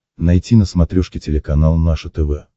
найти на смотрешке телеканал наше тв